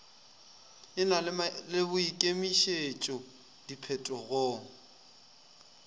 e na le boikemišetšo diphetogong